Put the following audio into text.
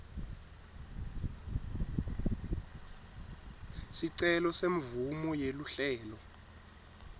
sicelo semvumo yeluhlelo